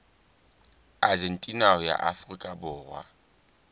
argentina ho ya afrika borwa